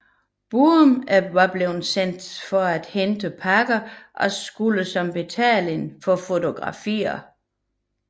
Bruhn var blevet sendt for at hente pakker og skulle som betaling få fotografier